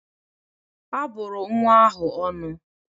A bụrụ nwa ahụ ọnụ